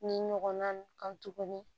Ni ɲɔgɔnna kan tuguni